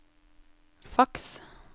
faks